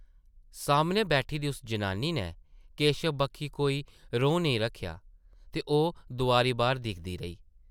सामनै बैठी दी उस जनानी नै केशव बक्खी कोई रौं नेईं रक्खेआ ते ओह् दोआरी बाह्र दिखदी रेही ।